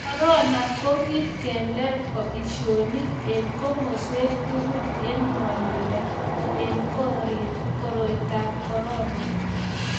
korona ni kiyi kedker boisionik eng komaswek tugul eng ngwanduni eng koroitab ab korona